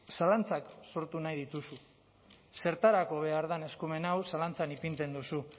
zalantzak sortu nahi dituzu zertarako behar den eskumen hau zalantzan ipintzen duzu